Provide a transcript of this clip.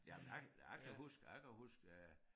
Jamen jeg jeg kan huske jeg kan huske øh